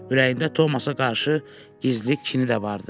Ürəyində Tomasa qarşı gizli kini də vardı.